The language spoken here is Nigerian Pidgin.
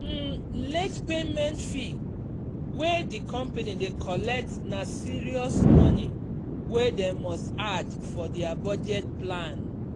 um late payment fee wey the company dey collect na serious money wey dem must add for their budget plan.